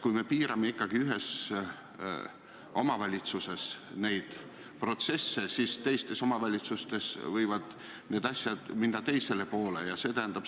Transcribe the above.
Kui me ühes omavalitsuses neid protsesse piirame, siis teistes omavalitsustes võivad need asjad minna teisele poole.